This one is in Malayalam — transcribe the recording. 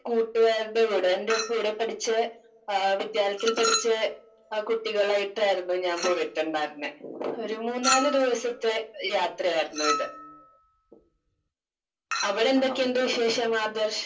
സ്പീക്കർ 2 കൂട്ടുകാരുടെ കൂടെ. എന്റെ കൂടെ പഠിച്ച ആഹ് വിദ്യാലയത്തിൽ പഠിച്ച കുട്ടികളായിട്ടായിരുന്നു ഞാൻ പോയിട്ടുണ്ടായിരുന്നേ ഒരു മൂന്നാല് ദിവസത്തെ യാത്രയായിരുന്നു ഇത്. അവിടെ എന്തൊക്കെയുണ്ട് വിശേഷം ആദർശ്?